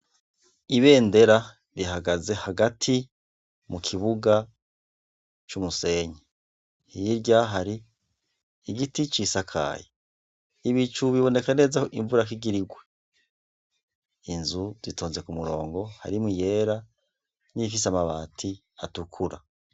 Ibendera rihagaze hagati mukibuga c'umusenyi hirya hari igiti cisakaye. Ibicu biboneka neza ko imvura igirigwe. Inzu zitonze k'umurongo harimw'iyera niyifise amabati atukura.